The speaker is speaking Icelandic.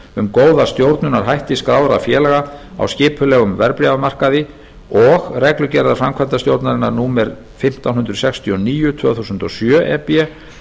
um góða stjórnunarhætti skráðra félaga á skipulegum verðbréfamarkaði og reglugerðar framkvæmdastjórnarinnar númer fimmtán hundruð sextíu og níu tvö þúsund og sjö e b